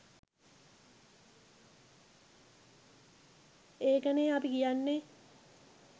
ඒකනේ අපි කියන්නේ